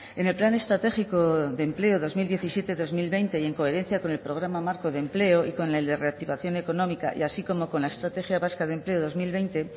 en el plan estratégico de empleo dos mil diecisiete dos mil veinte y en coherencia con el programa marco de empleo y con el de reactivación económica y así como con la estrategia vasca de empleo dos mil veinte